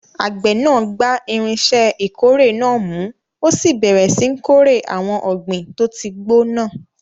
Àgbẹ̀ náà gba irinṣẹ́ ìkórè náà mú, ó sì bẹ̀rẹ̀ síi kórè àwọn ọ̀gbìn tó ti gbó náà.